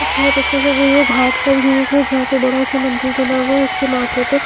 यह बहुत अच्छा सा व्यू घाट व्यू का जहां पे बड़ा सा मंदिर बना हुआ है उसके माथे पे--